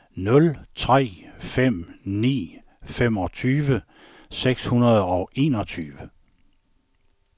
nul tre fem ni femogtyve seks hundrede og enogtyve